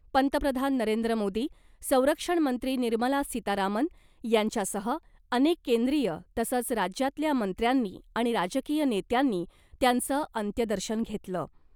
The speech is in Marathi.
पंतप्रधान नरेंद्र मोदी , संरक्षण मंत्री निर्मला सीतारामन यांच्यासह अनेक केंद्रीय तसंच राज्यातल्या मंत्र्यांनी आणि राजकीय नेत्यांनी त्यांचं अंत्यदर्शन घेतलं .